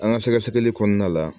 An ka sɛgɛsɛgɛli kɔnɔna la